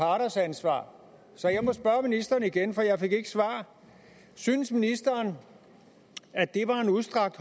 parters ansvar så jeg må spørge ministeren igen for jeg fik ikke svar synes ministeren at det var en udstrakt